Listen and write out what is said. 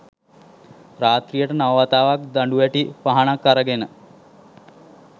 රාත්‍රියට නව වතාවක් දඬුවැටි පහනක් අරගෙන